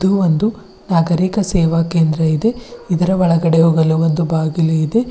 ಇದು ಒಂದು ನಾಗರಿಕ ಸೇವಾ ಕೇಂದ್ರ ಇದೆ ಇದರ ಒಳಗಡೆ ಹೋಗಲು ಒಂದು ಬಾಗಿಲು ಇದೆ.